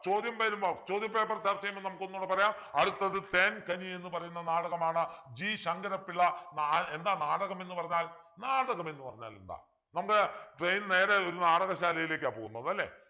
ചോദ്യം വരുമ്പോ ചോദ്യ paper ചർച്ച ചെയ്യുമ്പോ നമുക്കൊന്നുകൂടെ പറയാം അടുത്തത് തേൻ കനി എന്ന് പറയുന്ന നാടകമാണ് G ശങ്കരപ്പിള്ള നാ എന്താ നാടകം എന്ന് പറഞ്ഞാൽ നാടകമെന്നു പറഞ്ഞാൽ എന്താ നമ്മുടെ train നേരെ ഒരു നാടകശാലയിലേക്കാ പോകുന്നത് അല്ലെ